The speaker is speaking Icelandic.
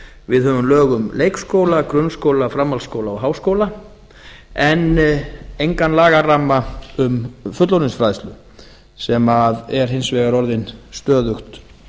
við höfum lög um leikskóla grunnskóla framhaldsskóla og háskóla en engan lagaramma um fullorðinsfræðslu sem er hins vegar orðin stöðugt